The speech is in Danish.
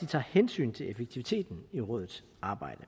de tager hensyn til effektiviteten i rådets arbejde